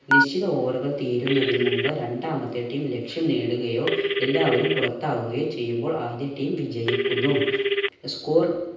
നിശ്ചിത over കൾ തീരുന്നതിന് മുമ്പ് രണ്ടാമത്തെ team ലക്ഷ്യം നേടുകയോ എല്ലാവരും പുറത്താവുകയോ ചെയ്യുമ്പോൾ ആദ്യ team വിജയിക്കുന്നു. score